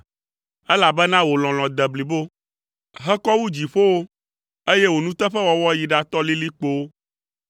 elabena wò lɔlɔ̃ de blibo, hekɔ wu dziƒowo, eye wò nuteƒewɔwɔ yi ɖatɔ lilikpowo.